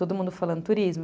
Todo mundo falando turismo.